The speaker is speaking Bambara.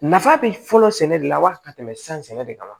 Nafa bɛ fɔlɔ sɛnɛ de la wali ka tɛmɛ san sɛnɛ de kan